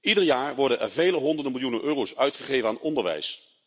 Ieder jaar worden er vele honderden miljoenen euro's uitgegeven aan onderwijs.